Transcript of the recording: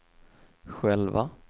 själva